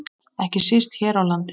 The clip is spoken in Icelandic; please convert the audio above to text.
Ekki síst hér á landi.